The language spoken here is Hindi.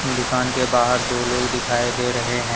दुकान के बाहर दो लोग दिखाई दे रहे हैं।